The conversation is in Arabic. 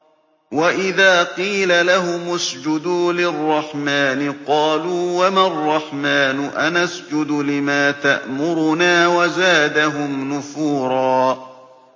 وَإِذَا قِيلَ لَهُمُ اسْجُدُوا لِلرَّحْمَٰنِ قَالُوا وَمَا الرَّحْمَٰنُ أَنَسْجُدُ لِمَا تَأْمُرُنَا وَزَادَهُمْ نُفُورًا ۩